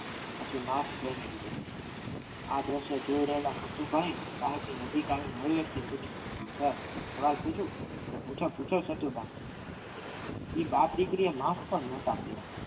પછી mask પહેરી લીધું. આ દ્રશ્ય જોઈ રહેલા નથુભાઈએ સાહેબ ની નજીક આવી ધીમેથી પૂછ્યું સર એક સવાલ પૂછું પૂછો પૂછો સતુભા એ બાપ દીકરીએ mask પણ નતા પહેર્યા.